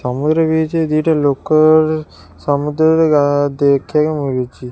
ସମୁଦ୍ର ବି ହେଇଛି ଆଜି ଏଇଟା ଲୋକ ସମୁଦ୍ର ରେ ଗା ଦେଖିବାକୁ ମାଗୁଛି।